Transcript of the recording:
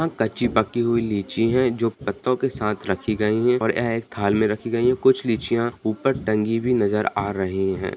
यह कच्ची-पक्की हुई लीची है जो पत्तों के साथ रखी गई है और यह एक थाल में रखी गई है कुछ लीचिया ऊपर टंगी भी नजर आ रहे हैं।